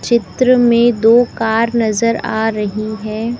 चित्र में दो कार नजर आ रही हैं।